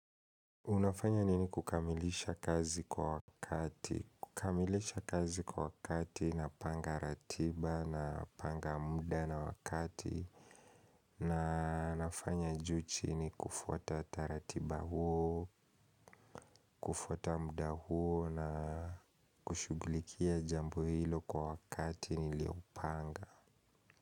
Unafanya nini kukamilisha kazi kwa wakati? Kukamilisha kazi kwa wakati napanga ratiba napanga muda na wakati na nafanya juu chini kufuata taratiba huo, kufuata muda huo na kushughulikia jambo hilo kwa wakati niliopanga.